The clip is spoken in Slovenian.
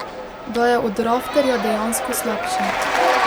Da je od Rafterja dejansko slabši.